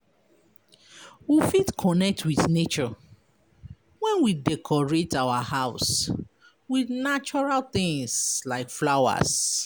We fit connect with nature when we decorate our house with natural things like flowers